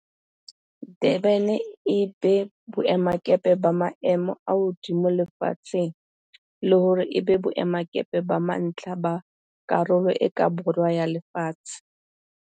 Durban e be boemakepe ba maemo a hodimo lefatsheng le hore e be boemakepe ba mantlha ba Karolo e ka Borwa ya Lefatshe.